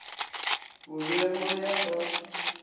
bo be go ya ka